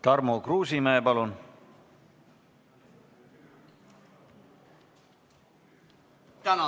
Tarmo Kruusimäe, palun!